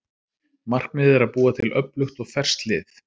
Markmiðið er að búa til öflugt og ferskt lið.